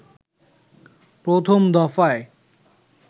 প্রথম দফায়